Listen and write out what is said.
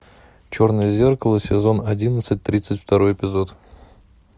черное зеркало сезон одиннадцать тридцать второй эпизод